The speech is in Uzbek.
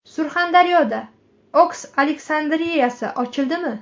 Surxondaryoda Oks Aleksandriyasi ochildimi?